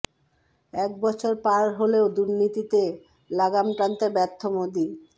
এক বছর পার হলেও দুর্নীতিতে লাগাম টানতে ব্যর্থ মোদী